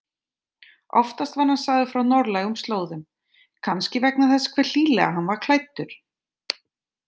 Oftast var hann sagður frá norðlægum slóðum, kannski vegna þess hve hlýlega hann var klæddur.